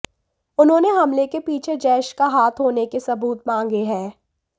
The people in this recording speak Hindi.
उन्होंने हमले के पीछे जैश का हाथ होने के सबूत मांगे हैं